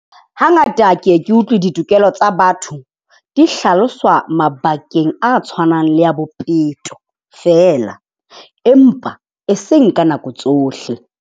Hangata ke e ke utlwe ditokelo tsa batho di hlaloswa mabakeng a tshwanang le a bophelo feela. Empa e seng ka nako tsohle.